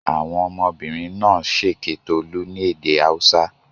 Àwọn ọmọbìnrin náà ṣèké Tolú ní èdè Haúsá?